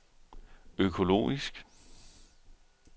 økologisk